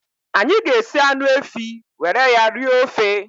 Anyị ga-esi anụ efi were ya rie ofe